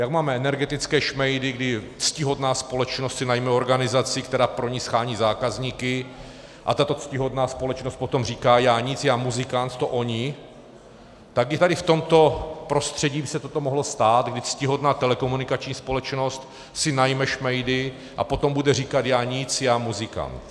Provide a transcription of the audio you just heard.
Jak máme energetické šmejdy, kdy ctihodná společnost si najme organizaci, která pro ni shání zákazníky, a tato ctihodná společnost potom říká já nic, já muzikant, to oni, tak i tady v tomto prostředí by se toto mohlo stát, kdy ctihodná telekomunikační společnost si najme šmejdy a potom bude říkat já nic, já muzikant.